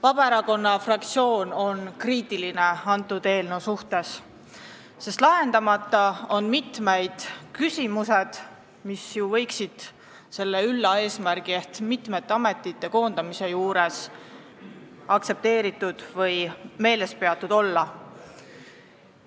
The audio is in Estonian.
Vabaerakonna fraktsioon on selle eelnõu suhtes kriitiline, sest lahendamata on mitmed küsimused, mis võiksid selle ülla eesmärgi ehk mitme ameti koondamise juures meeles peetud olla.